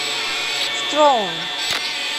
строун